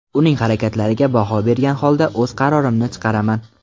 Uning harakatlariga baho bergan holda o‘z qarorimni chiqaraman.